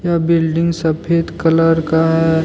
Building सफेद colour का है।